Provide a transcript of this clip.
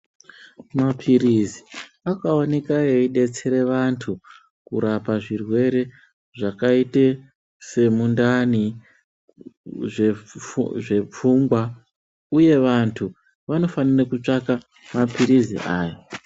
Mapirizi akaoneka eidetsere vantu kurapa zvirwere zvakaite semundani zvepfu zvepfungwa uye vantu vanofanire kutsvaka mapirizi aya.